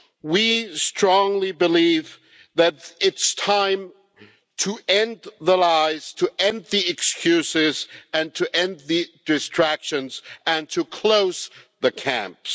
We strongly believe that it's time to end the lies, to end the excuses and to end the distractions, and to close the camps.